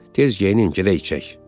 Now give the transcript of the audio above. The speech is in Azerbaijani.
Tez geyinin gedək içək.